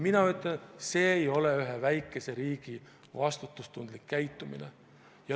Mina ütlen, et see ei ole ühe väikese riigi vastutustundlik käitumine.